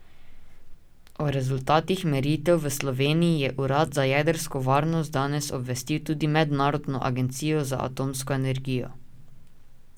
O rezultatih meritev v Sloveniji je urad za jedrsko varnost danes obvestil tudi Mednarodno agencijo za atomsko energijo.